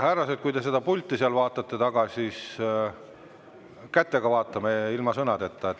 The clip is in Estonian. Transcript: Härrased, kui te seda pulti seal taga vaatate, siis vaadake kätega, ilma sõnadeta.